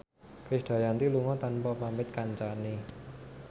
Krisdayanti lunga tanpa pamit kancane